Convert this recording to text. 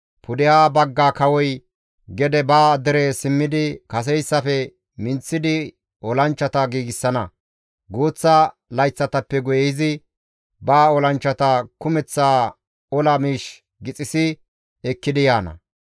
Pudeha bagga kawoy gede ba dere simmidi kaseyssafe minththidi olanchchata giigsana; guuththa layththatappe guye izi ba olanchchata kumeththa ola miish gixissi ekkidi yaana.